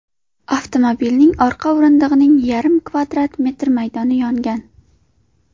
Avtomobilning orqa o‘rindig‘ining yarim kvadrat metr maydoni yongan.